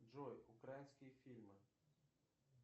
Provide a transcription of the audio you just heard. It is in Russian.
джой украинские фильмы